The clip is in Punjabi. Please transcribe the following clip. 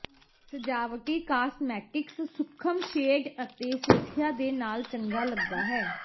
ਸਜਾਵਟੀ ਕਾਸਮੈਟਿਕਸ ਸੂਖਮ ਸ਼ੇਡ ਅਤੇ ਸੁਰੱਖਿਆ ਦੇ ਨਾਲ ਚੰਗਾ ਲਗਦਾ ਹੈ